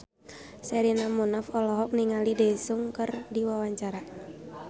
Sherina Munaf olohok ningali Daesung keur diwawancara